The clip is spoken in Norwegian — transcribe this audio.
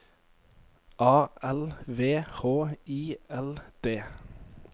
A L V H I L D